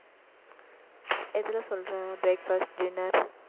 எதுல சொல்றேன் breakfast dinner